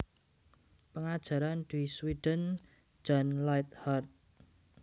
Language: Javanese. Pengajaran di Sweden Jan Lighthart